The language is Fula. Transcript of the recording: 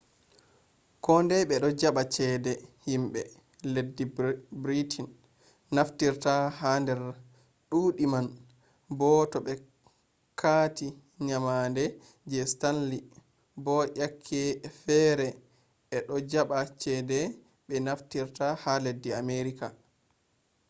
kondai ɓe ɗo jaɓa cede himɓe leddi britin naftirfta ha nder duuɗe man bo to be kati nyamande je stanli bo yak e fere ɓe ɗo jaɓa cede ɓe naftirta ha leddi amerika